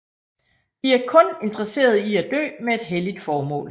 De er kun interesseret i at dø med et helligt formål